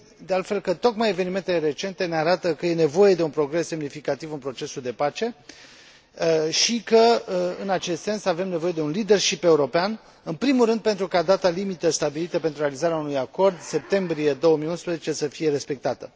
Cred, de altfel, că tocmai evenimentele recente ne arată că este nevoie de un progres semnificativ în procesul de pace și că, în acest sens, avem nevoie de un leadership european, în primul rând pentru ca data limită stabilită pentru realizarea unui acord, septembrie 2011, să fie respectată.